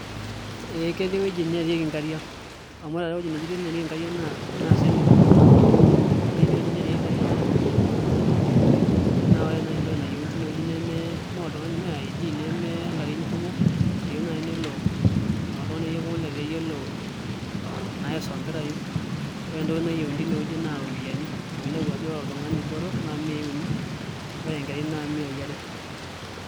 Ee ketii wuejitin neerieki nkariak amu taata wuejitin neerieki nkariak naa swimming pool naa ketii wuejitin neerieki nkariak enkopang naa ore nai entoki nayieuni tineweji nemee oltungani me ID nemelarin kumok eyiu nai nelo oltungani pooki letaa eyielo aisombirayu Kore entoki nayieu tineweji naa ropiyiani amu ainepu ajo ore oltungani botor naa miyai uni ore enkerrai naa miyai are.